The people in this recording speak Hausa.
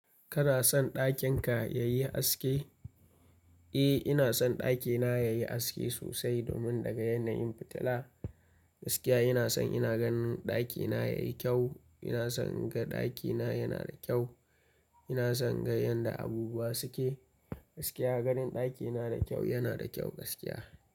Kana son ɗakin ka yayi aske? Eh ina son ɗakina yayi aske sosai domin naga yanayin fitila. Gaskiya ina son ina ganin ɗakina yayi kyau. Ina son na ga ɗakina yana da kyau. Ina son na ga yanda abubuwa suke. Gaskiya ganin ɗakina da kyau yana da kyau gaskiya.